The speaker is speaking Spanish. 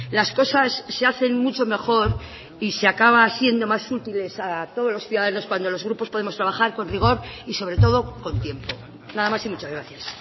las cosas se hacen mucho mejor y se acaba siendo más útiles a todos los ciudadanos cuando los grupos podemos trabajar con rigor y sobre todo con tiempo nada más y muchas gracias